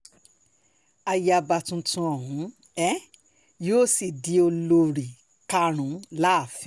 ayaba tuntun ọ̀hún ni um yóò sì di olórí um karùn-ún láàfin